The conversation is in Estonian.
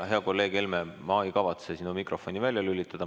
Hea kolleeg Helme, ma ei kavatse sinu mikrofoni välja lülitada.